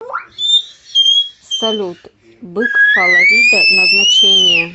салют бык фаларида назначение